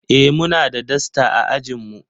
Eh muna da dasta a ajin mu.